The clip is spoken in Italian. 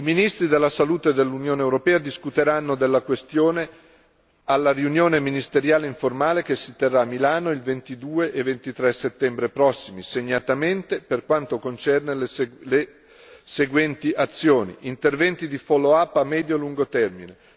I ministri della Salute dell'Unione europea discuteranno della questione alla riunione ministeriale informale che si terrà a Milano il 22 e 23 settembre prossimi, segnatamente per quanto concerne le seguenti azioni interventi di follow up a medio e lungo termine